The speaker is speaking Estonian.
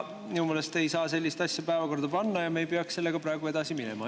Minu meelest ei saa sellist asja päevakorda panna ja me ei peaks sellega praegu edasi minema.